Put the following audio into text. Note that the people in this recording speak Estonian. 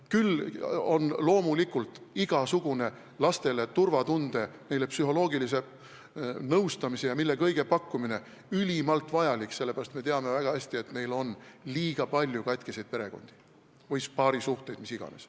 Küll on loomulikult ülimalt vajalik lastele turvatunde, neile psühholoogilise nõustamise ja mille kõige pakkumine, sest me teame väga hästi, et meil on liiga palju katkiseid perekondi või paarisuhteid või mida iganes.